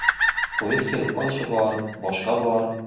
Poyezd kelib qolishi bor, boshqa bor.